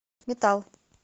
метал